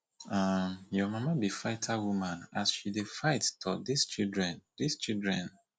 um your mama be fighter woman see as she dey fight tor dis children dis children